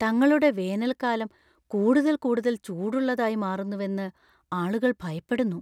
തങ്ങളുടെ വേനൽക്കാലം കൂടുതൽ കൂടുതൽ ചൂടുള്ളതായി മാറുന്നുവെന്ന് ആളുകൾ ഭയപ്പെടുന്നു.